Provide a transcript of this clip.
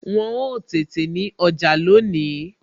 Wọn ó tètè ti ọjà lónìí